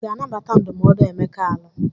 Ị ga-anabata ndụmọdụ Emeka alụ?